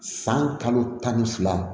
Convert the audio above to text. San kalo tan ni fila